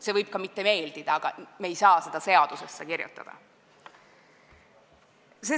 Ta võib meile mitte meeldida, aga me ei saa seda seadusesse kirjutada.